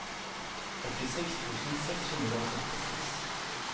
åttiseks tusen seks hundre og sekstiseks